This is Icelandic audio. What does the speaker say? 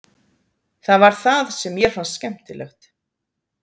Það var það sem mér fannst skemmtilegt.